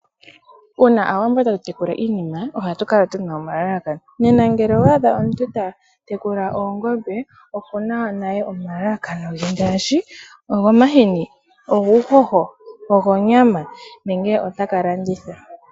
Uuna Aawambo tatu tekula iinima ohatu kala tu na omalalakano. Nena ngele owa adha omuntu ta tekula oongombe oku na naye omalakano ge ngaashi ogomahini, oguuhoho, ogonyama nenge ota ka landitha.